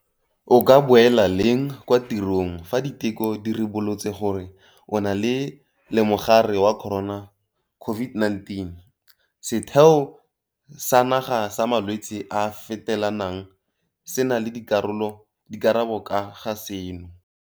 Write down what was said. O ka boela leng kwa tirong fa diteko di ribolotse gore o na lemogare wa corona, COVID-19? Setheo sa Naga sa Malwetse a a Fetelanang se na le dikarabo ka ga seno.